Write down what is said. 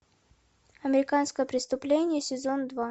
американское преступление сезон два